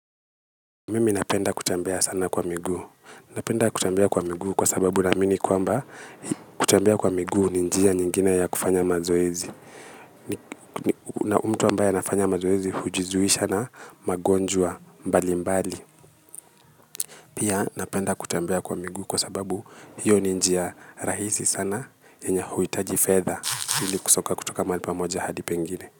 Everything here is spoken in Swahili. Mimi napenda kutembia sana kwa miguu, napenda kutembea kwa miguu kwa sababu naamini kwamba kutembia kwa miguu ni njia nyingine ya kufanya mazoezi. Na mtu ambaye anafanya mazoezi hujizuisha na magonjwa mbali mbali. Pia napenda kutembia kwa miguu kwa sababu hiyo ni njia rahisi sana yenya hauitaji fedha hili kusoka kutoka maali pamoja hadi pengine.